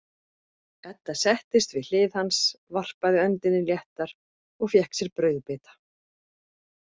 Edda settist við hlið hans, varpaði öndinni léttar og fékk sér brauðbita.